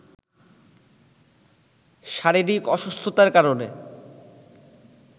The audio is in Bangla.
শারীরিক অসুস্থতার কারণে